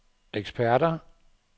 eksperter